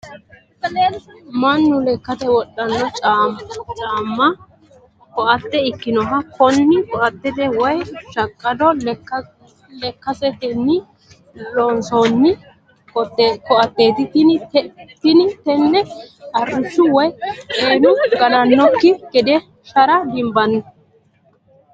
mannu lekkate wodhanno caamma (koatte) ikkinohu kuni kitote woyi shaqqado lastiketenni loonsoonni koateeti tini tenne arrishshu woyi xeenu ganannokki gede shara dinboonni,